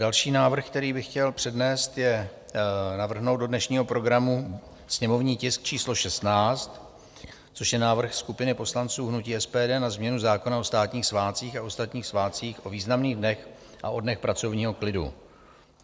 Další návrh, který bych chtěl přednést, je navrhnout do dnešního programu sněmovní tisk číslo 16, což je návrh skupiny poslanců hnutí SPD na změnu zákona o státních svátcích a ostatních svátcích, o významných dnech a o dnech pracovního klidu.